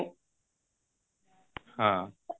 ହଁ